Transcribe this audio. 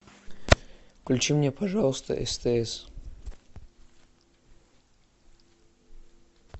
включи мне пожалуйста стс